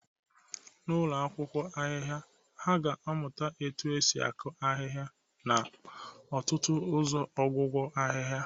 N'ụlọ akwụkwọ ahịhịa, ha ga-amụta otú e si akụ ahịhịa na ọtụtụ ụzọ ọgwụgwọ ahịhịa